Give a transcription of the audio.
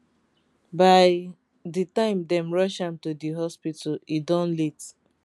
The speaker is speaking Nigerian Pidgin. by di time dem rush am to di hospital e don late